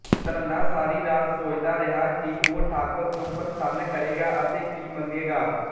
ਧੰਨਾ ਸਾਰੀ ਰਾਤ ਸੋਚਦਾ ਰਿਹਾ ਕਿ ਉਹ ਠਾਕੁਰ ਨੂੰ ਪ੍ਰਸੰਨ ਕਰੇਗਾ ਅਤੇ ਕੀ ਮੰਗੇਗਾ